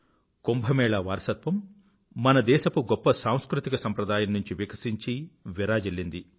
కుంభ్ వారసత్వం మన దేశపు గొప్ప సాంస్కృతిక సంప్రదాయం నుండి వికసించి విరాజిల్లింది